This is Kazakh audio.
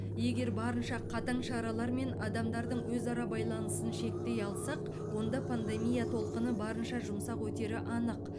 егер барынша қатаң шаралармен адамдардың өзара байланысын шектей алсақ онда пандемия толқыны барынша жұмсақ өтері анық